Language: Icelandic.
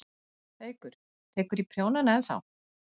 Haukur: Tekurðu í prjónana ennþá?